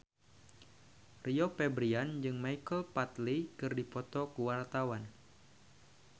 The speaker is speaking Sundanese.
Rio Febrian jeung Michael Flatley keur dipoto ku wartawan